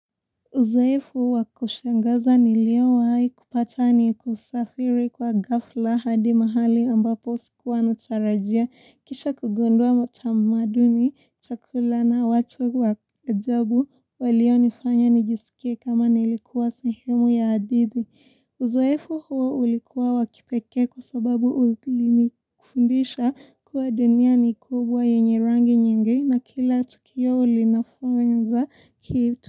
Uzoefu wa kushangaza niliowahi kupata ni kusafiri kwa gafla hadi mahali ambapo sikuwa natarajia kisha kugundua matamaduni, chakula na watu wa ajabu walionifanya nijisikie kama nilikuwa sehemu ya adidhi. Uzoefu huo ulikuwa wa kipekee kwa sababu ulinifundisha kuwa dunia ni kubwa yenye rangi nyingi na kila tukio ulinafunza kitu.